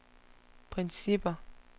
principper